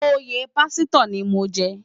Óyé pásitò ni mó n jè